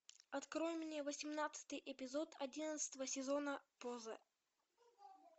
открой мне восемнадцатый эпизод одиннадцатого сезона поза